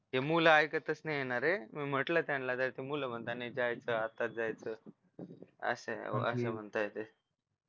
हे मूल ऐकतच नाहीये नारे मी म्हटलं त्यांना तर मुलं म्हणताय नाही जायचं आत्ताच जायचं असं असं म्हणताय ते